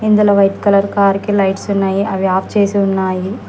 ఇందులో white colour కార్కి lights ఉన్నాయి అవి ఆఫ్ చేసి ఉన్నాయి.